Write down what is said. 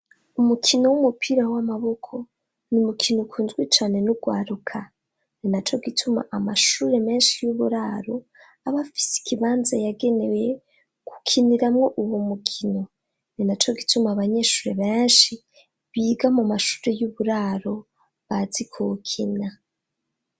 Umukino w'umupira w'amaboko n’umukino ukunzwe cane n'ugwaruka ni na co gituma amashure menshi y'uburaro, abafise ikibanza yagenewe kukiniramwo uwo mukino ni naco gituma abanyeshure benshi, biga mu mashure y'uburaro bazi kuwukina.